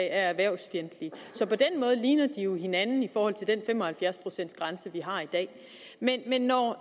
er erhvervsfjendtlige så på den måde ligner de jo hinanden i forhold til den fem og halvfjerds procents grænse vi har i dag men når